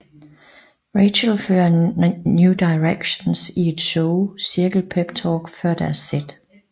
Rachel fører New Directions i et show cirkel peptalk før deres sæt